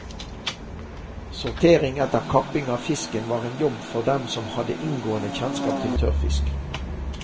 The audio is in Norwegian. Sortering etter kapping av fisken var en jobb for dem som hadde inngående kjennskap til tørrfisk.